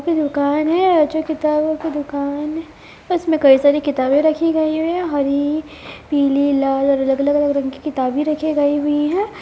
एक दुकान है जो किताबो की दुकान है इसमे कई सारे किताबे रखी हुई है हरी पीले लाल अलग-अलग रंग के किताबे रखे गई हुई है।